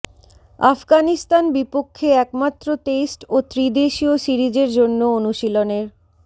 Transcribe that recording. আফগানিস্তান বিপক্ষে একমাত্র টেস্ট ও ত্রিদেশীয় সিরিজের জন্য অনুশীলনের